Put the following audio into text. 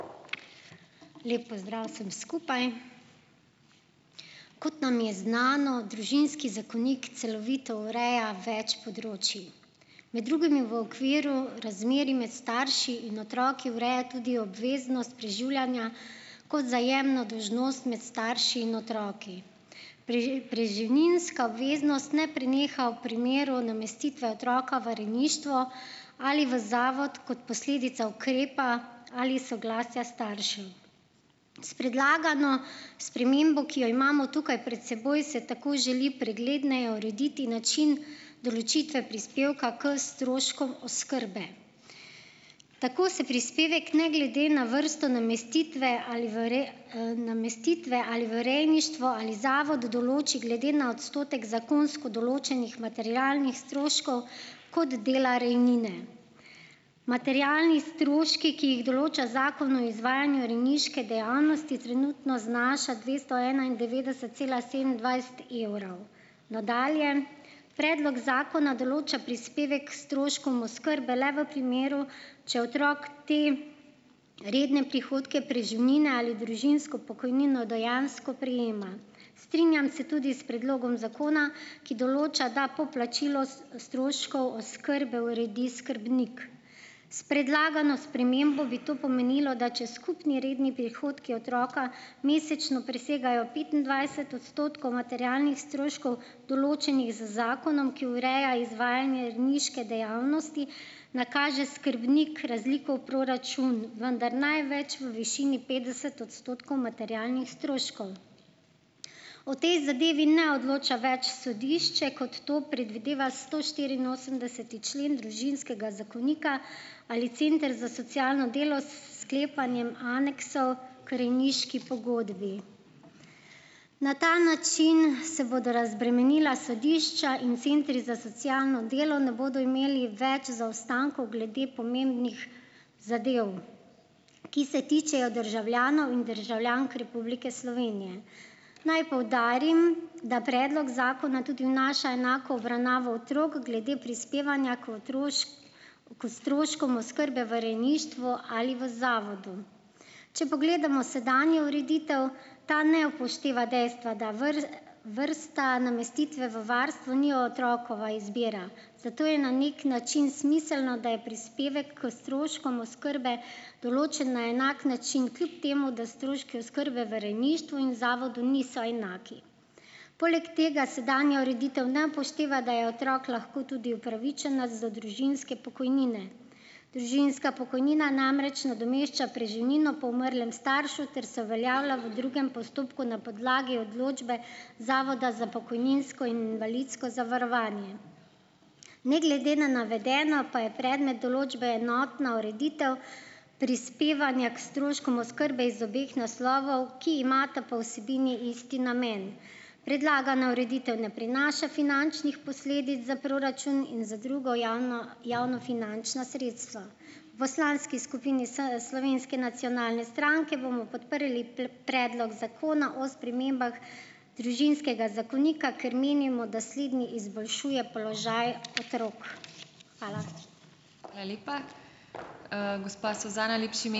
Lep pozdrav vsem skupaj! Kot nam je znano, družinski zakonik celovito ureja več področij. Med drugim je v okviru razmerij med starši in otroki ureja tudi obveznost preživljanja kot vzajemno dolžnost med starši in otroki. preživninska obveznost ne preneha v primeru namestitve otroka v rejništvo ali v zavod kot posledica ukrepa ali soglasja staršev. S predlagano spremembo, ki jo imamo tukaj pred seboj, se tako želi pregledneje urediti način določitve prispevka k stroškom oskrbe. Tako se prispevek ne glede na vrsto namestitve, ali v namestitve ali v rejništvo ali zavod določi glede na odstotek zakonsko določenih materialnih stroškov kot dela rejnine. Materialni stroški, ki jih določa Zakon o izvajanju rejniške dejavnosti, trenutno znaša dvesto enaindevetdeset cela sedemindvajset evrov. Nadalje, predlog zakona določa prispevek k stroškom oskrbe le v primeru, če otrok te redne prihodke preživnine ali družinsko pokojnino dejansko prejema. Strinjam se tudi s predlogom zakona, ki določa, da poplačilo stroškov oskrbe uredi skrbnik. S predlagano spremembo bi to pomenilo, da če skupni redni prihodki otroka mesečno presegajo petindvajset odstotkov materialnih stroškov, določenih z zakonom, ki ureja izvajanje rejniške dejavnosti, nakaže skrbnik razliko v proračun, vendar največ v višini petdeset odstotkov materialnih stroškov. O tej zadevi ne odloča več sodišče, kot to predvideva stoštiriinosemdeseti člen družinskega zakonika ali center za socialno delo s sklepanjem aneksov k rejniški pogodbi. Na ta način se bodo razbremenila sodišča in centri za socialno delo ne bodo imeli več zaostankov glede pomembnih zadev, ki se tičejo državljanov in državljank Republike Slovenije. Naj poudarim, da predlog zakona tudi vnaša enako obravnavo otrok glede prispevanja k stroškom oskrbe v rejništvu ali v zavodu. Če pogledamo sedanjo ureditev, ta ne upošteva dejstva, da vrsta namestitve v varstvo ni otrokova izbira, zato je na neki način smiselno, da je prispevek k stroškom oskrbe določen na enak način, kljub temu da stroški oskrbe v rejništvu in zavodu niso enaki. Poleg tega sedanja ureditev ne upošteva, da je otrok lahko tudi upravičenec za družinske pokojnine. Družinska pokojnina namreč nadomešča preživnino po umrlem staršu ter se uveljavlja v drugem postopku na podlagi odločbe Zavoda za pokojninsko in invalidsko zavarovanje. Ne glede na navedeno pa je predmet določbe enotna ureditev prispevanja k stroškom oskrbe iz obeh naslovov, ki imata po vsebini isti namen. Predlagana ureditev ne prinaša finančnih posledic za proračun in za druga javnofinančna sredstva. V skupini Slovenske nacionalne stranke bomo podprli Predlog zakona o spremembah družinskega zakonika, ker menimo, da sledni izboljšuje položaj otrok. Hvala.